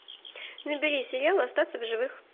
набери сериал остаться в живых